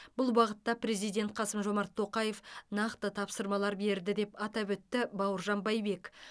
бұл бағытта президент қасым жомарт тоқаев нақты тапсырмалар берді деп атап өтті бауыржан байбек